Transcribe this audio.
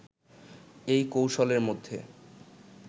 এই কৌশলের মধ্যে